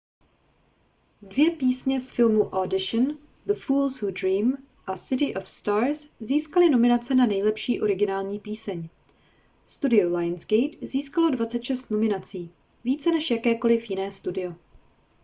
dvě písně z filmu audition the fools who dream a city of stars získaly nominace na nejlepší originální píseň. studio lionsgate získalo 26 nominací – více než jakékoli jiné studio